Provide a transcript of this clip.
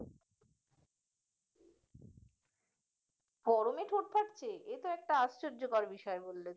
গরমে ঠোট ফাটছে? এতো একটা আশ্চর্যকর বিষয় বললে তুমি